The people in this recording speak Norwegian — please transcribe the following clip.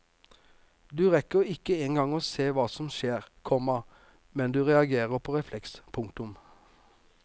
Du rekker ikke engang å se hva som skjer, komma med du reagerer på refleks. punktum